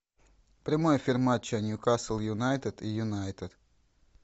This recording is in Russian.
прямой эфир матча ньюкасл юнайтед и юнайтед